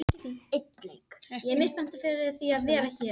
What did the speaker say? Erlen, hringdu í Röskvu.